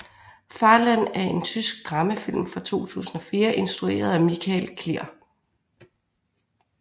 Farland er en tysk dramafilm fra 2004 instrueret af Michael Klier